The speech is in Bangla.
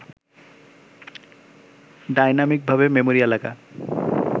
ডাইনামিকভাবে মেমরি এলাকা